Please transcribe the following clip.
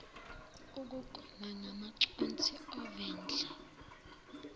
ukugoma ngamaconsi ovendle